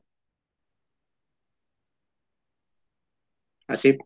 Asif